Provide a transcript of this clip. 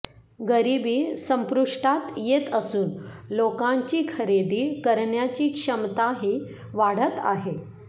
गरीबी संपुष्टात येत असून लोकांची खरेदी करण्याची क्षमताही वाढत आहे